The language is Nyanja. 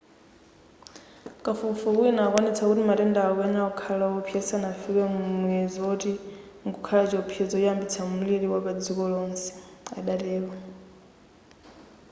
kafukufuku wina akuwonetsa kuti matendawa akuyenera kukhala osawopsa zisanafike muyezo oti mkukhala chiopsezo choyambitsa mliri wapadziko lonse adatero